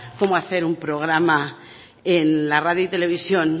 cómo hacer un programa en la radio y televisión